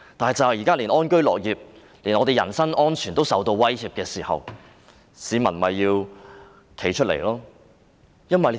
但現在當大家連安居樂業、人身安全也受到威脅，市民就要站出來。